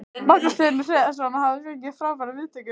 Magnús Hlynur Hreiðarsson: Og þið hafið fengið frábærar viðtökur?